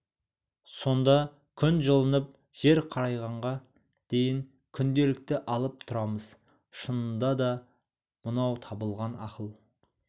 сонда күн жылынып жер қарайғанға дейін күнделікті алып тұрамыз шынында да мынаутабылған ақыл